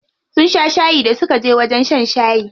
Sun sha shayi da suka je wajen shan shayi.